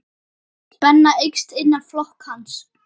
Spenna eykst innan flokks hans.